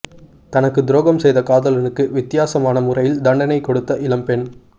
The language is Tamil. தனக்கு துரோகம் செய்த காதலனுக்கு வித்தியாசமான முறையில் தண்டணை கொடுத்த இளம்பெண்